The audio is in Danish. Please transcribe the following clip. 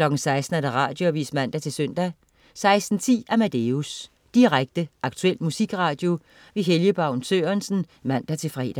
Radioavis (man-søn) 16.10 Amadeus. Direkte, aktuel musikradio. Helge Baun Sørensen (man-fre)